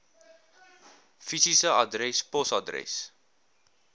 fisiese adres posadres